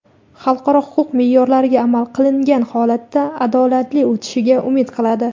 xalqaro huquq meʼyorlariga amal qilingan holatda adolatli o‘tishiga umid qiladi.